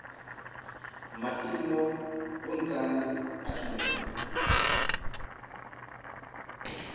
maimo na vhunzani ha tshumelo